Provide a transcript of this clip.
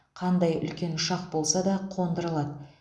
қандай үлкен ұшақ болса да қондыра алады